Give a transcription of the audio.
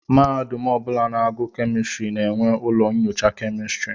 Mahadum ọbụla na-agu kemistri na-enwe ụlọ nnyocha kemistri.